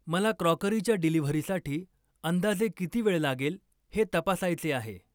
मला क्रॉकरीच्या डिलिव्हरीसाठी अंदाजे किती वेळ लागेल हे तपासायचे आहे.